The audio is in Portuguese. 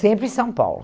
Sempre em São Paulo.